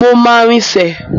Mo máa rinsẹ̀.